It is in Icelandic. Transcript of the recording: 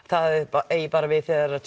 það eigi bara við þegar það